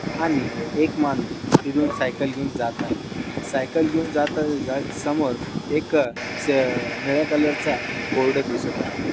आणि एक माणूस तिथून सायकल घेऊन जात आहे. सायकल घेऊन जात समोर एक स-- निळ्या कलर चा बोर्ड दिसत आहे.